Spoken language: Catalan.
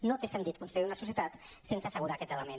no té sentit construir una societat sense assegurar aquest element